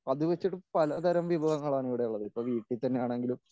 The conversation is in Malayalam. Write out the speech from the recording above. അത് വെച്ചിട്ട് പലതരം വിഭവങ്ങളാണ് ഇവിടെയുള്ളത് ഇപ്പോൾ വീട്ടിൽ തന്നെയാണെങ്കിലും